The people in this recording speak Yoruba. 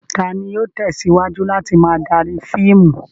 Ta ni yóò tẹ̀síwájú láti máa darí fíìmù?